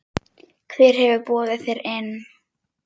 Hver hefur boðið þér inn?